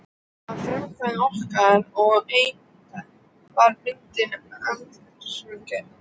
Að frumkvæði okkar og eigenda var myndin aldursgreind.